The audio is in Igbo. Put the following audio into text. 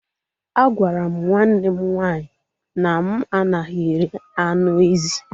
A gwara m nwanne m nwaanyị na m anaghị eri anụ ezi